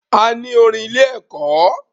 A ní orin ilé ẹ̀kọ́.